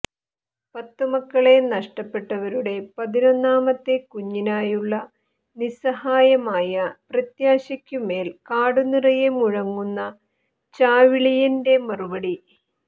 പത്തു മക്കളെ നഷ്ടപ്പെട്ടവരുടെ പതിനൊന്നാമത്തെ കുഞ്ഞിനായുള്ള നിസ്സഹായമായ പ്രത്യാശയ്ക്കു മേൽ കാടു നിറയെ മുഴങ്ങുന്ന ചാവിളിയന്റെ മറുപടി